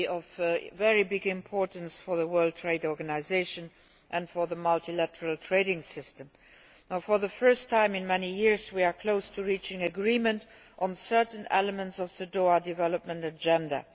It will be of great importance for the World Trade Organisation and for the multilateral trading system. For the first time in many years we are close to reaching agreement on certain elements of the Doha Development Agenda.